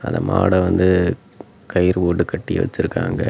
அந்த மாட வந்து கயிறு போட்டு கட்டி வெச்சிருக்காங்க.